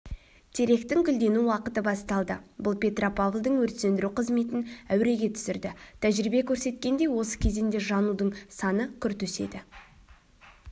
теректің гүлдену уақыты басталды бұл петропавлдың өрт сөндіру қызметін әуреге түсірді тәжірибе көрсеткендей осы кезеңде жанудың саны күрт өседі